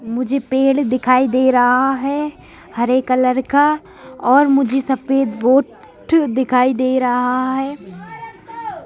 मुझे पेड़ दिखाई दे रहा है हरे कलर का और मुझे सफेद बोर्ड दिखाई दे रहा है।